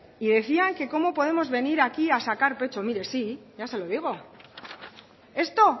y decía que cómo podíamos venir aquí a sacar pecho pues mire sí ya se lo digo esto